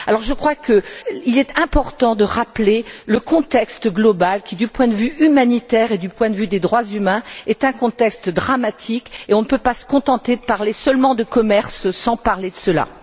Je crois qu'il est important de rappeler le contexte global qui, du point de vue humanitaire et du point de vue des droits de l'homme, est un contexte dramatique et on ne peut se contenter de parler seulement de commerce sans parler de cela.